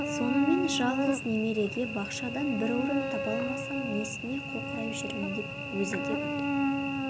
сонымен жалғыз немереге бақшадан бір орын таба алмасам несіне қоқырайып жүрмін деп өзі де күлді